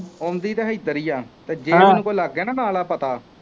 ਆਉਂਦੀ ਤਾਂ ਇੱਧਰ ਹੀ ਹੈ ਜੇ ਉਹਨੂੰ ਲੱਗ ਗਿਆ ਨਾ ਵਾਲਾ ਪਤਾ